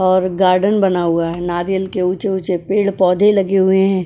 और गार्डन बना हुआ है नारियल के ऊंचे ऊंचे पेड़ पौधे लगे हुए हैं।